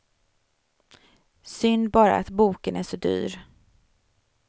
Synd bara att boken är så dyr.